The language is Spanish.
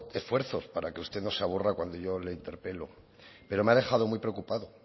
esfuerzos para que usted no se aburra cuando yo le interpelo pero me ha dejado muy preocupado